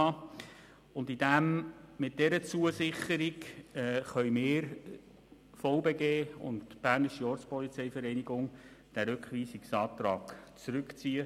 Dank dieser Zusicherung können wir den Rückweisungsantrag zurückziehen.